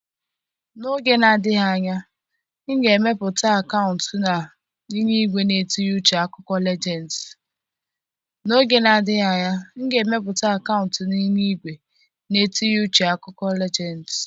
N'oge na-adịghị anya, m ga-emepụta akaụntụ na nyiwe na-etinye uche akụkọ Legends.